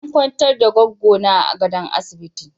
An kwantar da Goggo na a gadon asibiti.